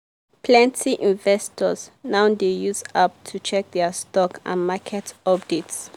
plenty investors now dey use app to check their stock and market updates.